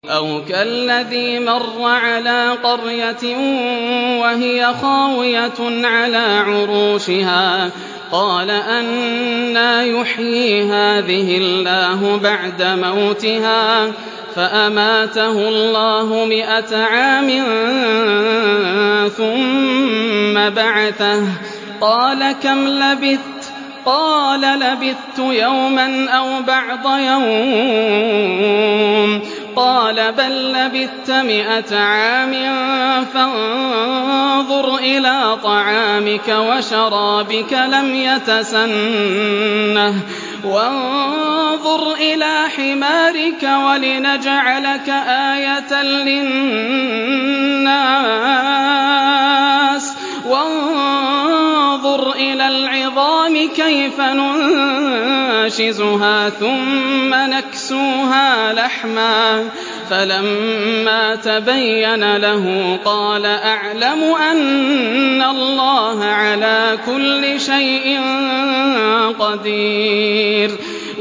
أَوْ كَالَّذِي مَرَّ عَلَىٰ قَرْيَةٍ وَهِيَ خَاوِيَةٌ عَلَىٰ عُرُوشِهَا قَالَ أَنَّىٰ يُحْيِي هَٰذِهِ اللَّهُ بَعْدَ مَوْتِهَا ۖ فَأَمَاتَهُ اللَّهُ مِائَةَ عَامٍ ثُمَّ بَعَثَهُ ۖ قَالَ كَمْ لَبِثْتَ ۖ قَالَ لَبِثْتُ يَوْمًا أَوْ بَعْضَ يَوْمٍ ۖ قَالَ بَل لَّبِثْتَ مِائَةَ عَامٍ فَانظُرْ إِلَىٰ طَعَامِكَ وَشَرَابِكَ لَمْ يَتَسَنَّهْ ۖ وَانظُرْ إِلَىٰ حِمَارِكَ وَلِنَجْعَلَكَ آيَةً لِّلنَّاسِ ۖ وَانظُرْ إِلَى الْعِظَامِ كَيْفَ نُنشِزُهَا ثُمَّ نَكْسُوهَا لَحْمًا ۚ فَلَمَّا تَبَيَّنَ لَهُ قَالَ أَعْلَمُ أَنَّ اللَّهَ عَلَىٰ كُلِّ شَيْءٍ قَدِيرٌ